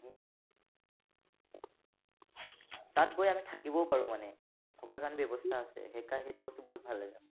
তাত গৈ আমি থাকিবও পৰোঁ মানে, থকা কাৰণে ব্যৱস্থা আছে। সেইকাৰনে, সেইটো বস্তু বহুত ভাল লাগে মোৰ।